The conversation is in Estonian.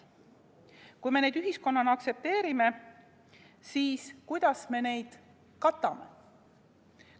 Kui me neid ühiskonnana aktsepteerime, siis kuidas me neid katame?